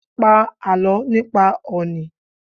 Pa àlọ́ nípa òní!